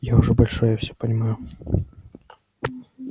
я уже большой я всё понимаю